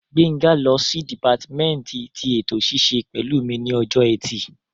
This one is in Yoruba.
Gbénga lọ sí dìpátímẹ́ǹtì tí ètò ṣíṣe pẹ̀lú mi ní ọjọ́ ẹtì